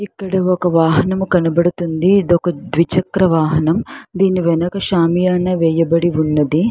ఇది ఒక వాహనం కనబడుతుంది. ద్విచక్ర వాహన వాహనం. ఇది ఒక సామ్యనీ వేయబడి ఉన్నది.